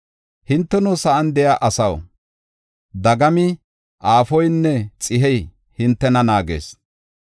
Hinteno, sa7an de7iya asaw, dagami aafoynne xihey hintena naagees.